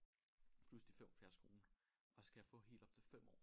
Plus de 75 kroner og så kan jeg få helt op til 5 år